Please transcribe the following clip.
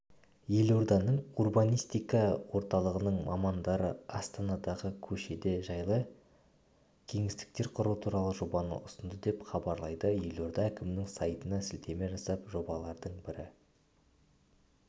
елорданың урбанистика орталығының мамандары астанадағы көшеде жайлы кеңістіктер құру туралы жобаны ұсынды деп хабарлайды елорда әкімінің сайтына сілтеме жасап жобалардың бірі